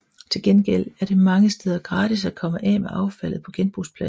Til gengæld er det mange steder gratis at komme af med affaldet på genbrugspladsen